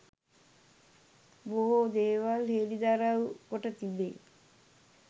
බොහෝ දේවල් හෙළිදරව් කොට තිබේ